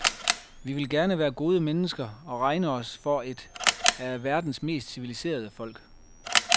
Vi vil gerne være gode mennesker og regne os for et af verdens mest civiliserede folk.